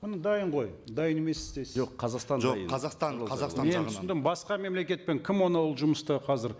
міне дайын ғой дайын емес дейсіз жоқ қазақстан жоқ қазақстан қазақстан жағынан мен түсіндім басқа мемлекетпен кім оны ол жұмысты қазір